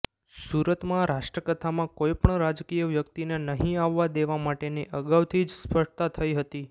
સુરતમાં રાષ્ટ્રકથામાં કોઇ પણ રાજકીય વ્યક્તિને નહી આવવા દેવા માટેની અગાઉથી જ સ્પષ્ટતા થઇ હતી